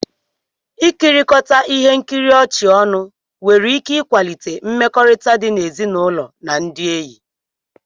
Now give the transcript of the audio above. Ikirikota ihe nkiri ọchị ọnụ nwere ike ịkwalite mmekọrịta di n'ezinụlọ na ndị enyi